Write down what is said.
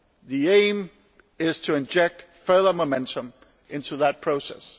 The aim is to inject further momentum into that process.